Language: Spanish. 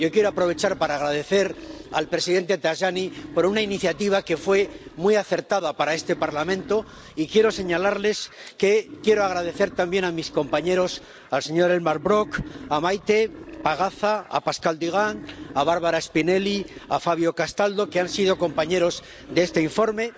Yo quiero aprovechar para agradecer al presidente Tajani una iniciativa que fue muy acertada para este Parlamento, y quiero señalarles que quiero dar también las gracias a Elmar Brok, a Maite Pagazaurtundúa, a Pascal Durand, a Barbara Spinelli y a Fabio Castaldo, que han sido compañeros de este informe.